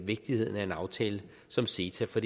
vigtigheden af en aftale som ceta for